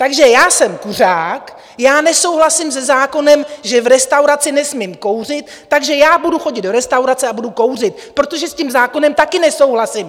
Takže já jsem kuřák, já nesouhlasím se zákonem, že v restauraci nesmím kouřit, takže já budu chodit do restaurace a budu kouřit, protože s tím zákonem taky nesouhlasím!